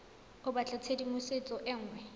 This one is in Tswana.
o batla tshedimosetso e nngwe